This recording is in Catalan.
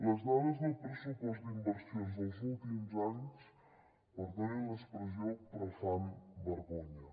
les dades del pressupost d’inversions dels últims anys perdonin l’expressió però fan vergonya